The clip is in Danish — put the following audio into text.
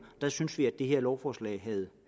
der synes vi at det her lovforslag havde